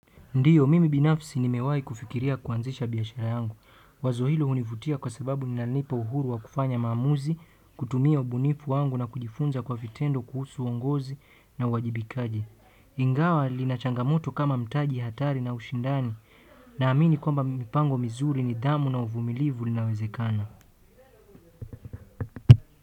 Ndio, mimi binafsi nimewai kufikiria kuanzisha biashara yangu. Wazo hilo univutia kwa sababu linalipa uhuru wa kufanya maamuzi, kutumia ubunifu wangu na kujifunza kwa vitendo kuhusu uongozi na uwajibikaji. Ingawa lina changamoto kama mtaji hatari na ushindani. Naamini kwamba mipango mizuri nidhamu na uvumilivu linawezekana.